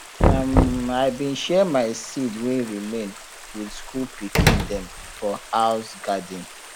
um i bin share my seed wey remain with school pikin dem for house garden